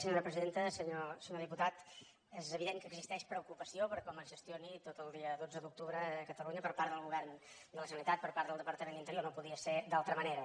senyor diputat és evident que existeix preocupació per com es gestioni tot el dia dotze d’octubre a catalunya per part del govern de la generalitat per part del departament d’interior no podia ser d’altra manera